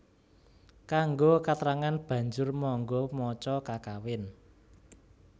Kanggo katrangan banjur mangga maca kakawin